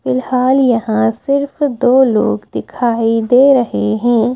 फिलहाल यहां सिर्फ दो लोग दिखाई दे रहे हैं।